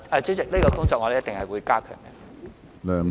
主席，這項工作我們一定會加強。